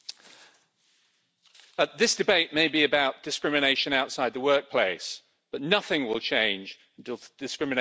Mr President, this debate may be about discrimination outside the workplace, but nothing will change until discrimination is ended at work.